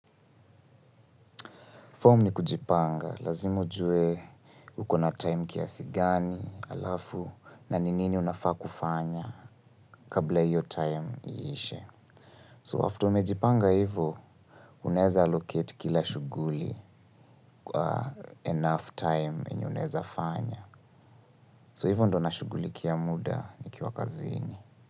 Form ni kujipanga, lazima ujue uko na time kiasi gani, alafu, na ni nini unafaa kufanya kabla iyo time iishe. So, after umejipanga ivo, uneza allocate kila shuguli enough time enye uneza fanya. So, ivo ndo nashugulikia muda nikiwa kazini.